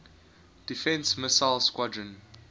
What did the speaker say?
defense missile squadron